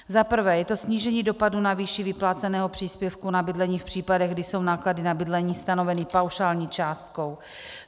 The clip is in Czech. Za prvé je to snížení dopadu na výši vypláceného příspěvku na bydlení v případech, kdy jsou náklady na bydlení stanoveny paušální částkou.